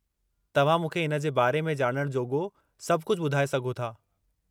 तव्हां मूंखे इन जे बारे में ॼाणणु जोॻो सभु कुझु ॿुधाऐ सघो था।